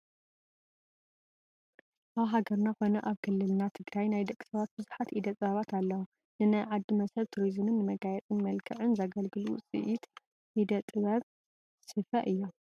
ኣብ ሃገርና ኮነ ኣብ ክልልና ትግራይ ናይ ደቂ ሰባት ብዙሓት ኢደ ጥበባት ኣለው፡፡ ንናይ ዓዲ መስሕብ ቱሪዝምን ንመጋየፅን መልክዕን ዘገልግሉ ውፅኢት ኢደ ጥበብ ስፈ እዮም፡፡